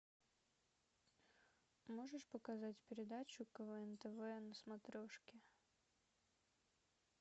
можешь показать передачу квн тв на смотрешке